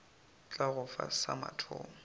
tla go fa sa mathomo